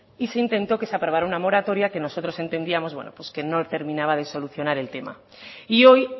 y se intentó que se aprobara una moratoria que nosotros entendíamos que no terminaba de solucionar el tema y hoy